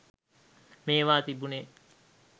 මේවා තිබුනෙ